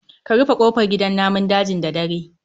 Ka rufe kofar gidan namun dajin da dare